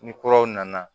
Ni kuraw nana